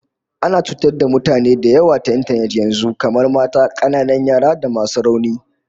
Ana cutar da mutane da yawa ta intanet yanzu, kamar mata, kananan yara da masu rauni